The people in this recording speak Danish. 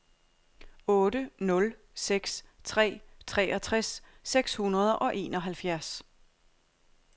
otte nul seks tre treogtres seks hundrede og enoghalvfjerds